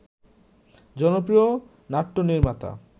জনপ্রিয় নাট্যনির্মাতা